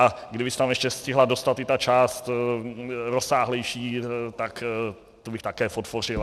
A kdyby se tam ještě stihla dostat i ta část rozsáhlejší, tak tu bych také podpořil.